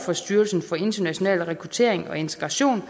for styrelsen for international rekruttering og integration